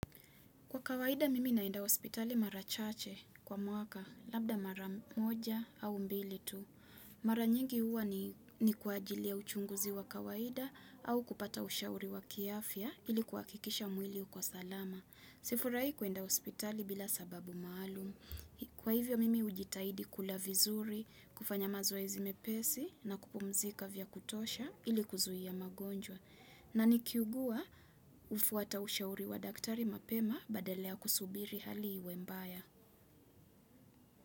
Kwa kawaida mimi naenda hospitali mara chache kwa mwaka labda mara moja au mbili tu. Mara nyingi huwa ni kwa ajili ya uchunguzi wa kawaida au kupata ushauri wa kiafya ili kuhakikisha mwili uko salama. Sifurahii kwenda hospitali bila sababu maalum. Kwa hivyo mimi hujitahidi kula vizuri, kufanya mazoezi mepesi na kupumzika vya kutosha ili kuzuia magonjwa. Na nikiugua hufuata ushauri wa daktari mapema badala ya kusubiri hali iwe mbaya.